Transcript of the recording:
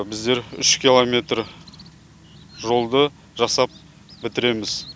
біздер үш километр жолды жасап бітіреміз